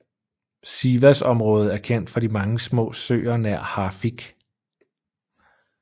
Sivas området er kendt for de mange små søer nær Hafik